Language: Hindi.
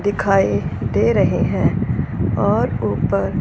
दिखाई दे रहे हैं और ऊपर--